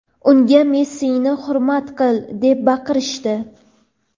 unga "Messini hurmat qil" deb baqirishdi.